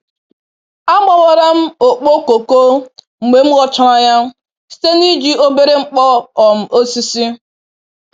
A gbawara m okpo koko mgbe m ghọchara ya site n'iji obere nkpo um osisi.